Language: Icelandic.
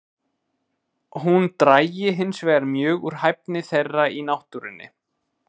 Hún drægi hinsvegar mjög úr hæfni þeirra í náttúrunni.